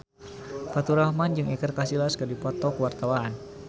Faturrahman jeung Iker Casillas keur dipoto ku wartawan